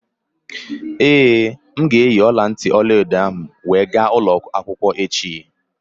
Ee, m ga-eyi ọla ntị ọla edo m wee ga ụlọ akwụkwọ echi